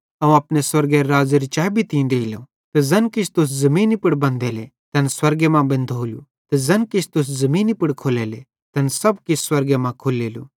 अवं अपने स्वर्गेरे राज़्ज़ेरी चैबी तीं देइलो ते ज़ैन किछ तुस ज़मीनी पुड़ बंधेले तैन स्वर्गे मां बेंधोलू ते ज़ैन किछ तू ज़मीनी पुड़ खोल्लेलो तैन सब किछ स्वर्गे मां खुल्लेलू